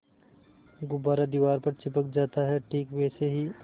गुब्बारा दीवार पर चिपक जाता है ठीक वैसे ही